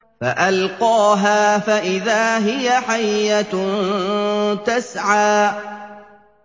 فَأَلْقَاهَا فَإِذَا هِيَ حَيَّةٌ تَسْعَىٰ